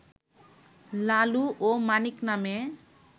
লালু ও মানিক নামে